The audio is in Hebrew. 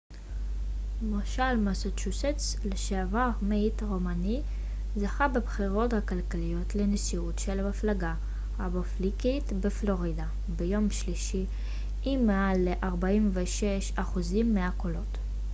מושל מסצ'וסטס לשעבר מיט רומני זכה בבחירות הכלליות לנשיאות של המפלגה הרפובליקאית בפלורידה ביום שלישי עם מעל ל 46% מהקולות